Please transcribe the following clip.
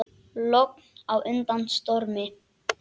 Logn á undan stormi.